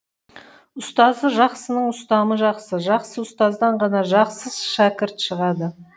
ұстазы жақсының ұстамы жақсы жақсы ұстаздан ғана жақсы шәкірт шығады